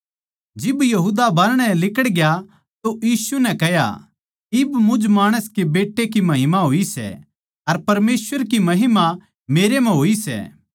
जिब यहूदा बाहरणै लिकड़ग्या तो यीशु नै कह्या इब मुझ माणस के बेट्टे की महिमा होई सै अर परमेसवर की महिमा मेरे म्ह होई सै